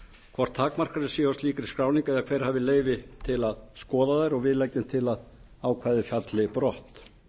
hvort takmarkanir séu á slíkri skráningu eða hver hafi leyfi til að skoða þær við leggjum til að ákvæðið falli brott